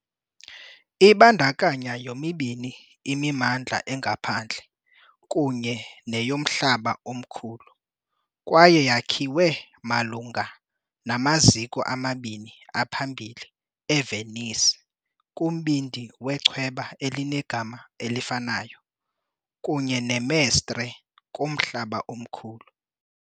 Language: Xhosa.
Ibandakanya yomibini imimandla engaphandle kunye neyomhlaba omkhulu kwaye yakhiwe malunga namaziko amabini aphambili eVenice, kumbindi wechweba elinegama elifanayo, kunye neMestre, kumhlaba omkhulu .